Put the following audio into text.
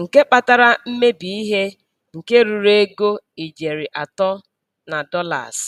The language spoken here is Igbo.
nke kpatara mmebi ihe nke ruru ego ijeri atọ na dolas.